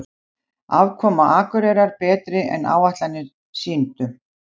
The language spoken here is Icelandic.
Afkoma Akureyrar betri en áætlanir sýndu